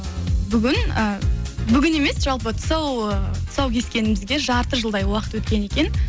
бүгін э бүгін емес жалпы тұсау тұсау кескенімізге жарты жылдай уақыт өткен екен